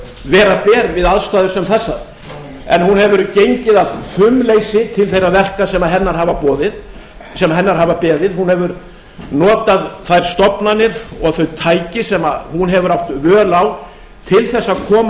vera ber við aðstæður sem þessar en hún hefur gengið af fumleysi til þeirra verka sem hennar hafa beðið hún hefur notað þær stofnanir og þau tæki sem hún hefur átt völ á til þess að koma